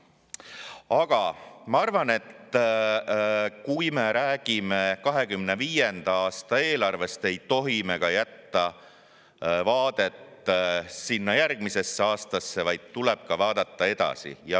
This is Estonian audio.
Aga ma arvan, et kui me räägime 2025. aasta eelarvest, siis ei tohi me jätta vaadet sinna järgmisesse aastasse, vaid tuleb vaadata ka edasi.